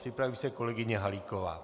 Připraví se kolegyně Halíková.